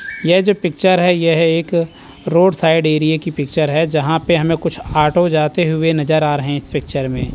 यह जो पिक्चर है यह एक रोड साइड एरिए की पिक्चर है यहां पे हमें कुछ ऑटो जाते हुए नज़र आ रहे हैं इस पिक्चर में।